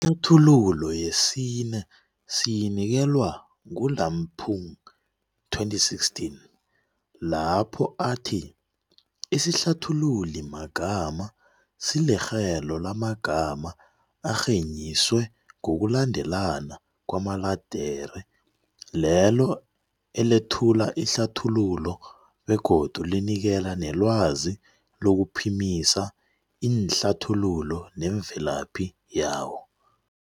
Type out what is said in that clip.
Ihlathululo yesine siyinikelwa nguLampung, 2016, lapho athi, isihlathululimagama silirhelo lamagama arhenyiswe ngokulandelana kwamaledere lelo elethula ihlathululo begodu linikela nelwazi lokuphimisa iinhlathululo nemvelaphi yawo.